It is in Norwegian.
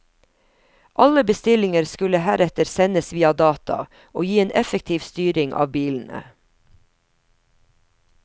Alle bestillinger skulle heretter sendes via data, og gi en effektiv styring av bilene.